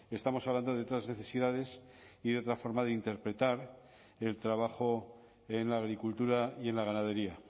estamos hablando de otras necesidades y de otra forma de interpretar el trabajo en la agricultura y en la ganadería